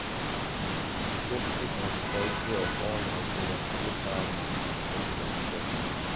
di safety and security of all nigerians dey paramount di president tok